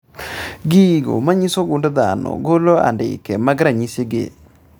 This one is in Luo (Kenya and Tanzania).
Gigo manyiso gund dhano golo andike mag ranyisi gi